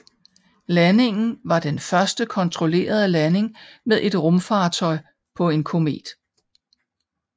Landingen var den første kontrollerede landing med et rumfartøj på en komet